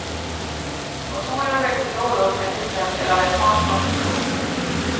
Motorer och växellådor är till exempel av japansk konstruktion.